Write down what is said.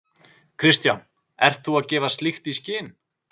Kristján: Ert þú að gefa slíkt í skyn?